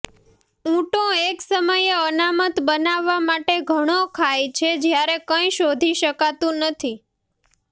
ઊંટો એક સમયે અનામત બનાવવા માટે ઘણો ખાય છે જ્યારે કંઇ શોધી શકાતું નથી